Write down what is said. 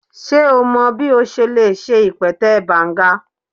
Ṣe o mọ bi o ṣe le ṣe ipẹtẹ Banga?